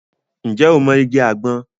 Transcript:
Ǹjẹ́ o mọ igi àgbọn?